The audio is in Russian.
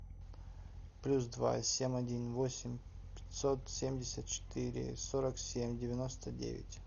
плюс два семь один восемь пятьсот семьдесят четыре сорок семь девяносто девять